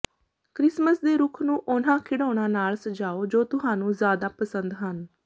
Christmas ਦੇ ਰੁੱਖ ਨੂੰ ਉਨ੍ਹਾਂ ਖਿਡੌਣਾਂ ਨਾਲ ਸਜਾਓ ਜੋ ਤੁਹਾਨੂੰ ਜ਼ਿਆਦਾ ਪਸੰਦ ਹਨ